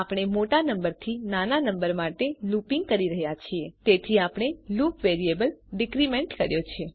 આપણે મોટા નંબરથી નાના નંબર માટે લુપીંગ કરી રહ્યા છે તેથી આપણે લુપ વેરિયેબલ ડીક્રીમેન્ટ કર્યો છે